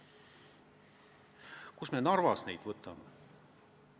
Kust me Narvas neid võtame?